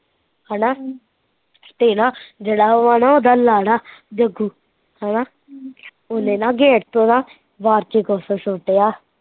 ਹੈਨਾ ਤੇ ਨਾ, ਜਿਹੜਾ ਵਾ ਨਾ ਓਹਦਾ ਲਾੜਾ, ਜਗੂ, ਹੈਨਾ, ਓਹਨੇ ਨਾ ਗੇਟ ਤੋਂ ਨਾ, ਬਾਰ ਚ ਕੁਸ਼ ਸੁੱਟਿਆ